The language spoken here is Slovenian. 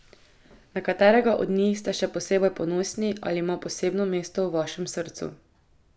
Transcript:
Na katerega od njih ste še posebej ponosni ali ima posebno mesto v vašem srcu?